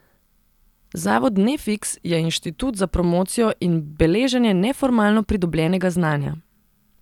Zavod Nefiks je inštitut za promocijo in beleženje neformalno pridobljenega znanja.